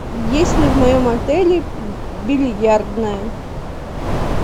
есть ли в моем отеле бильярдная